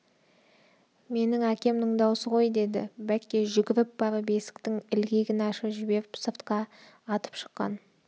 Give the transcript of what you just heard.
менің әкемнің даусы ғой деді бәкке жүгіріп барып есіктің ілгегін ашып жіберіп сыртқа атып шыққан